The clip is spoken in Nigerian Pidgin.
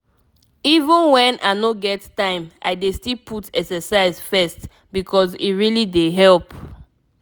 even when i no get time i dey still put exercise first because e really dey help.